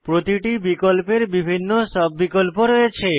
প্রতিটি বিকল্পের বিভিন্ন সাব বিকল্প রয়েছে